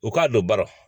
U k'a don baron